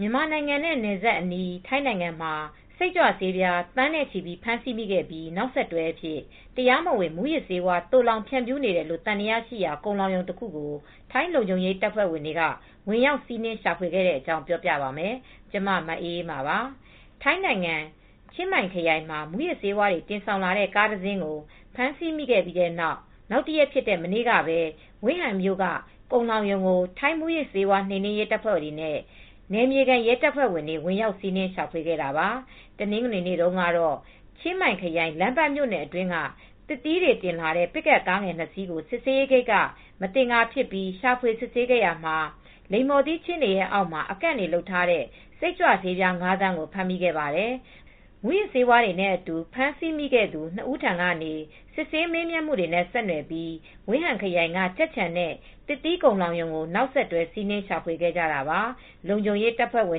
မြန်မာနိုင်ငံနဲ့ နယ်စပ်အနီး ထိုင်းနိုင်ငံမှာ စိတ်ကြွဆေး သန်းနဲ့ချီ ဖမ်းဆီးမိခဲ့ပြီး နောက်ဆက်တွဲအဖြစ် တရားမဝင်မူးယစ်ဆေးဝါး သိုလှောင်ဖြန့်ဖြူးနေတယ်လို့ သံသယရှိရာ ကုန်လှောင်ရုံတခုကို ထိုင်းလုံခြုံရေး တပ်ဖွဲ့တွေ ဝင်ရောက်စီးနင်း ရှာဖွေခဲ့တဲ့အကြောင်း ပြောပြပါမယ်။ ဗွီအိုအေ မြန်မာပိုင်းသတင်းထောက် မအေးအေးမာက ထိုင်း မြန်မာ နယ်စပ်ကနေ သတင်းပေးပို့ထားပါတယ်။ ထိုင်းနိုင်ငံ၊ ချင်းမိုင်ခရိုင်မှာ မူးယစ်ဆေးဝါးတွေ တင်ဆောင်လာတဲ့ ကားတစ်စင်းကို ဖမ်းဆီးမိခဲ့ပြီးနောက်တရက်ဖြစ်တဲ့ မနေ့ကပဲ Wiang Haeng မြို့က ကုန်လှောင်ရုံကို ထိုင်း မူးယစ်ဆေးဝါး နှိမ်နင်းရေးတပ်ဖွဲ့တွေနဲ့ နယ်မြေခံ ရဲတပ်ဖွဲ့တွေ ဝင်ရောက်စီးနင်း ရှာဖွေခဲ့ကြတာပါ။ တနင်္ဂနွေနေ့တုန်းက ချင်းမိုင်ခရိုင် လမ်းပန်းမြို့နယ်အတွင်းက သစ်သီးတွေတင်လာတဲ့ ပစ်ကပ်ကားငယ် ၂ စီးကို စစ်ဆေးရေးဂိတ်က မသင်္ကာဖြစ်ပြီး ရှာဖွေ စစ်ဆေးရာမှာ လိမ္မော်သီးခြင်းတွေအောက်မှာ အကန့်တွေတွေလုပ်ထားတဲ့ စိတ်ကြွဆေးပြား ၅ သန်းကို ဖမ်းမိခဲ့ပါတယ်။ မူးယစ်ဆေးဝါးတွေနဲ့အတူ ဖမ်းဆီးမိခဲ့သူ ၂ ဦးထံကနေ စစ်ဆေးမေးမြန်းမှုတွေနဲ့ ဆက်နွယ်ပြီး ဝင်ဟန်ခရိုင်က ကြက်ခြံနဲ့ သစ်သီးကုန်လှောင်ရုံကို နောက်ဆက်တွဲ စီးနင်းရှာဖွေခဲ့ကြတာပါ။ လုံခြုံရေးတပ်ဖွဲ့တွေ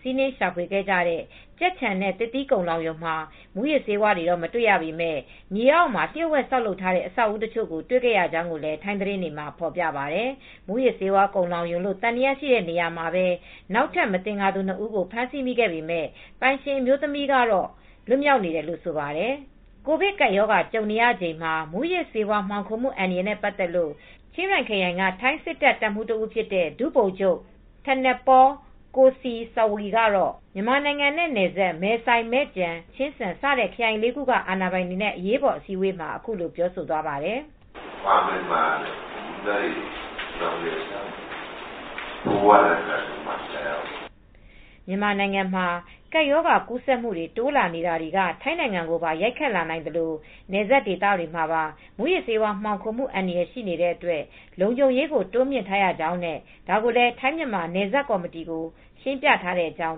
စီးနင်းရှာဖွေခဲ့ကြတဲ့ ကြက်ခြံနဲ့ သစ်သီးကုန်လှောင်ရုံမှာ မူးယစ်ဆေးဝါးတွေ မတွေ့ရပေမဲ့ မြေအောက်မှာ လျို့ဝှက်ဆောက်လုပ်ထားတဲ့ အဆောက်အဦးတချို့ကို တွေ့ရကြောင်းလည်း ထိုင်းသတင်းတွေက ဖော်ပြပါတယ်။ မူးယစ်ဆေးဝါး ကုန်လှောင်ရုံလို့ သံသယရှိတဲ့နေရာမှာပဲ နောက်ထပ် မသင်္ကာသူ ၂ ဦးကို ဖမ်းဆီးခဲ့ပေမဲ့ ပိုင်ရှင်အမျိုးသမီးကတော့ လွတ်မြောက်နေတယ်လို့လည်း ဆိုပါတယ်။ ကိုဗစ်ကပ်ရောဂါ ကြုံနေရချိန်မှာ မူးယစ်ဆေးဝါး မှောင်ခိုမှု အန္တရာယ်နဲ့ပတ်သက်လို့ ချင်းရိုင်ခရိုင်က ထိုင်းစစ်တပ် တပ်မှူး တဦးဖြစ်တဲ့ ဒုဗိုလ်ချုပ် Thanatpol Kosai Sawee ကတော့ မြန်မာနိုင်ငံနဲ့ နယ်စပ် မဲဆိုင်၊ မဲ့ကျန်၊ မဲ့ဖာလွန်၊ ချင်းစန် စတဲ့ခရိုင်လေးခုက အာဏာပိုင်တွေနဲ့ အရေးပေါ်အစည်းအဝေးမှာ အခုလိုပြောဆိုသွားပါတယ်။ “ မြန်မာနိုင်ငံမှာ ကပ်ရောဂါကူးစက်မှုတွေ တိုးလာနေတာတွေက ထိုင်းနိုင်ငံကိုပါ ရိုက်ခတ်လာနိုင်သလို နယ်စပ်ဒေသတွေမှာ မူးယစ်ဆေးဝါး မှောင်ခိုမှု အန္တရာယ်ရှိနေတဲ့အတွက် လုံခြုံရေးကို တိုးမြှင့်ထားရကြောင်းနဲ့ ဒါကိုလည်း ထိုင်းမြန်မာနယ်စပ်ကော်မတီကို ရှင်းပြထားတဲ့အကြောင်း”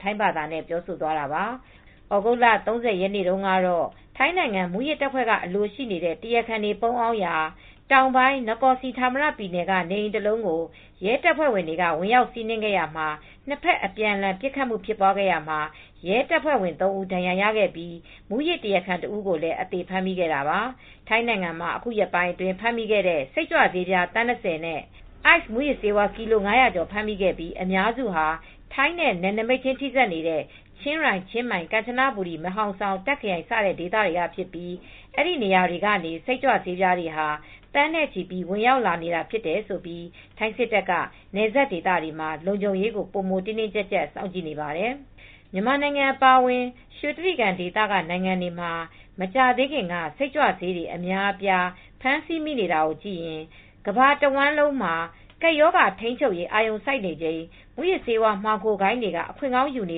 ထိုင်းဘာသာနဲ့ ပြောဆိုသွားတာပါ။ သြဂုတ်လ ၃၀ရက်နေ့က ထိုင်းနိုင်ငံ မူးယစ်တပ်ဖွဲ့ကအလိုရှိနေတဲ့ မူးယစ်တရားခံ တွေ ပုန်းအောင်နေရာ တောင်ပိုင်း နကော်စီဌာမရ ပြည်နယ် Nakhon Si Thammarat ကနေအိမ်ကို ရဲတပ်ဖွဲ့က ဝင်ရောက်စီးနင်း ခဲ့ရာမှာ နှစ်ဘက်အပြန်အလှန် ပစ်ခတ်မှု ဖြစ်ပွားခဲ့ရာမှာ ရဲတပ်ဖွဲ့ဝင်သုံးဦးဒဏ်ရာရခဲ့ပြီး မူးယစ် တရားခံတစ်ဦးကိုလည်း အသေဖမ်းမိခဲ့တာပါ။ ထိုင်းနိုင်ငံမှာ ယခုရက်ပိုင်း ဖမ်းမိတဲ့ စိတ်ကြွဆေး သန်း၂၀ နဲ့ အိုက်စ်မူးယစ်ဆေးကီလို ၅၀၀ကျော် ဖမ်းမိခဲ့ပြီး အများစုဟာ ထိုင်းနဲ့နယ်နိမိတ်ခြင်းထိစပ်နေတဲ့ ချင်းရိုင်-ချင်းမိုင်- ကမ်ချနဘူရီ မဲဟောင်ဆောင် -တာ့ခ် ခရိုင် စတဲ့ ဒေသတွေကဖြစ်ပြီး အဲဒီနေရာတွေက နေ စိတ်ကြွဆေးတွေဟာ သန်းနဲ့ချီ ဝင်ရောက်လာတာဖြစ်လို့ ထိုင်း စစ်တပ်က နယ်စပ်ဒေသတွေမှာ ပိုမိုတင်းတင်းကျပ်ကျပ် စောင့်ကြည့်နေပါတယ်။ မြန်မာနိုင်ငံအပါအဝင် ရွှေတြိဂံဒေသနိုင်ငံတွေမှာ မကြာသေးခင်က စိတ်ကြွဆေးတွေ အများအပြား ဖမ်းဆီးမိနေတာကိုကြည့်ရင် ကမ္ဘာတဝှမ်းလုံးမှာ ကပ်ရောဂါထိန်းချုပ်ရေး အာရုံစိုက်နေချိန် မူးယစ်ဆေးမှောင်ခိုဂိုဏ်းတွေက အခွင့်ကောင်းယူနေ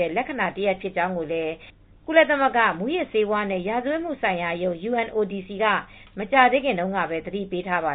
တဲ့ လက္ခဏာတရပ် ဖြစ်ကြောင်းလည်း ကုလသမဂ္ဂ မူးယစ်ဆေးဝါးနဲ့ ရာဇဝတ်မှုဆိုင်ရာရုံး (UNODC) က မကြာသေးခင်တုန်းကပဲ သတိပေးထားပါ